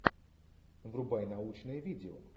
врубай научное видео